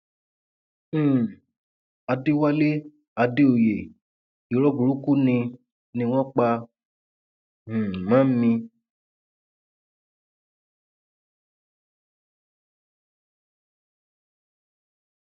um àdẹwálé àdèòye irọ burúkú ni ni wọn pa um mọ mi